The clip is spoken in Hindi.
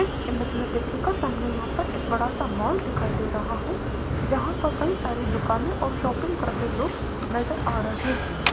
इस इमेज में देखिएगा सामने यहां पर एक बड़ा सा मॉल दिखाई दे रहा है जहां पे कई सारे दुकानें और शॉपिंग करते लोग नजर आ रहे हैं।